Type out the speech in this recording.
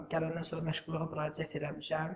Gələndən sonra məşğulluğa müraciət eləmişəm.